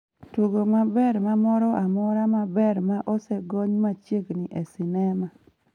tugo maber ma moro amora maber ma osegony machiegni e sinema